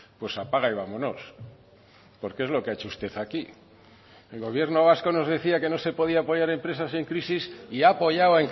pues apaga y vámonos porque es lo que ha hecho usted aquí el gobierno vasco nos decía que no se podía apoyar empresas en crisis y ha apoyado